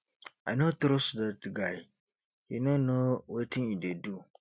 i no trust dat guy he no know wetin e dey do